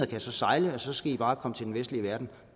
kan sejle og så skal i bare komme til den vestlige verden